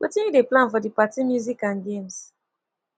wetin you dey plan for di party music and games